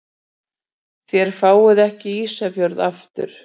Þér fáið ekki Ísafjörð aftur.